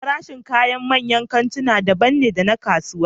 Farashin kayan manyan kantuna daban ne da na kasuwa